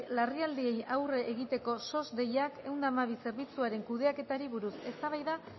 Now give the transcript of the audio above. larrialdiei aurre egiteko sos deiakminus ehun eta hamabi zerbitzuaren kudeaketari buruz eztabaida